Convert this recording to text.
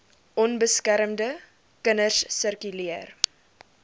onbeskermde kinders sirkuleer